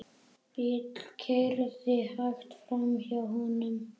Bíll keyrði hægt framhjá honum.